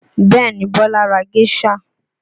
Bẹẹ ni, Bola ra géṣà